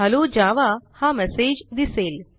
hello Java हा message दिसेल